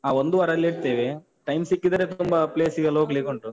ಹಾ. ಒಂದು ವಾರ ಅಲ್ಲೇ ಇರ್ತೇವೆ, time ಸಿಕ್ಕಿದ್ರೆ ತುಂಬ place ಗೆಲ್ಲ ಹೋಗ್ಲಿಕ್ಕುಂಟು.